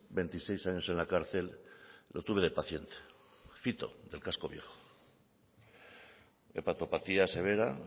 veintiséis años en la cárcel lo tuve de paciente fito del casco viejo hepatopatía severa